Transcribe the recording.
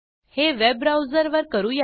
हे web browser वर करू या